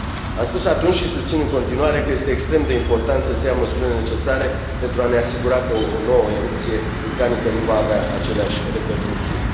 Am spus atunci și susțin în continuare că este extrem de important să se ia măsurile necesare pentru a ne asigura că o nouă erupție vulcanică nu va avea aceleași repercusiuni.